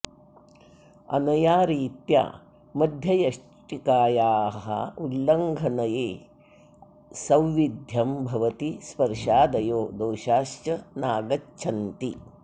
अनया रीत्या मध्ययष्टिकाया उल्लङ्घनए सौविध्यं भवति स्पर्शादयो दोषाश्च नागच्छन्ति